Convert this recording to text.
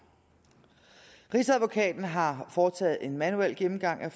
rigsadvokaten har foretaget en manuel gennemgang af